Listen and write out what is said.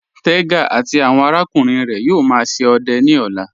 Tẹga àti awọn arákùnrin rẹ yóò má ṣe ọdẹ ni ọ̀là.